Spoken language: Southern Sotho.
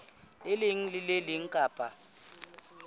leng le le leng kapa